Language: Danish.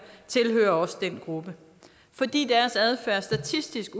tilhører også den gruppe fordi deres adfærd statistisk